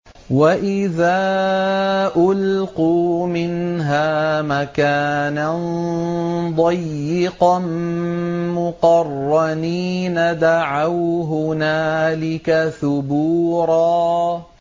وَإِذَا أُلْقُوا مِنْهَا مَكَانًا ضَيِّقًا مُّقَرَّنِينَ دَعَوْا هُنَالِكَ ثُبُورًا